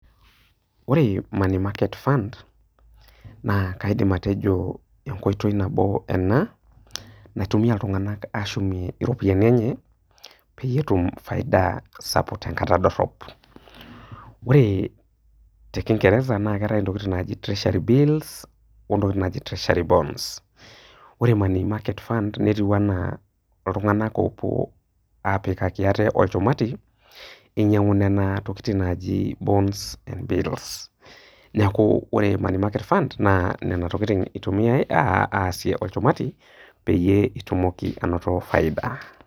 Ore money market fund naa kaidim atejo enkoitoi nabo ena naitumia iltung'ana ashumie iropiani enye peyie etum faida sapuk tenkata dorop. Ore te kingereza naa keatai intokitin naaji treasury bills o intokitin naaji treasury bonds ore money market fund netiu anaa iltung'ana oopuo apikaki aate olchumati einyang'u Nena tokitin naaji bonds and bills. Neaku ore money market fund naa nena tokin eitumiya aasie olchumati peyie itumoki ainoto faida.